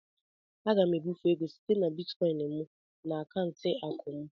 M ga-ebufe ego site na bịtịkoin m na akaụntụ akụ m.